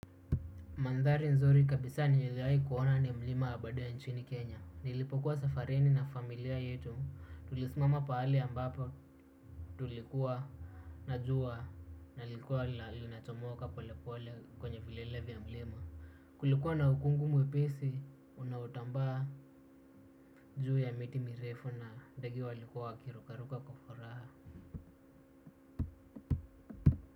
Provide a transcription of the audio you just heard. Mandhari nzuri kabisa niliwahi kuona ni mlima aberdares ya nchini kenya. Nilipokuwa safarini na familia yetu tulismama pahali ambapo tulikuwa na jua na lilikuwa linachomoka pole pole kwenye vilele vya milima. Kulikuwa na ukungu mwepesi unautambaa juu ya miti mirefu na ndege walikuwa wakirukaruka kwa furaha.